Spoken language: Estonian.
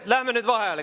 Läheme nüüd vaheajale.